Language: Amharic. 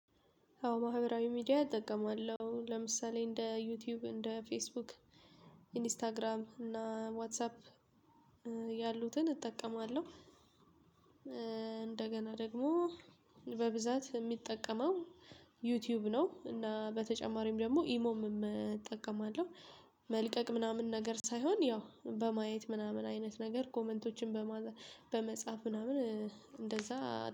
አዎ ማህበራዊ ሚዲያ እጠቀማለሁ ለምሳሌ እንደ ዩቲዩብ እንደ ፌስቡክ ኢንስታግራም እና ዋትሳፕ ያሉትን እጠቀማለሁ። እንደገና ደግሞ በብዛት የምጠቀመው ዩቲዩብ ነው። እና በተጨማሪም ደግሞ ኢሞም እጠቀማለሁ። መልቀቅ ምናምን ነገር ሳይሆን ያው በማየት ምናምን አይነት ነገር ኮመንቶችን በመጻፍ ምናምን እንደዛ።